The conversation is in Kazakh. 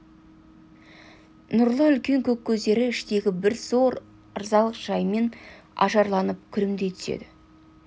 нұрлы үлкен көк көздері іштегі бір зор ырзалық жаймен ажарланып күлімдей түседі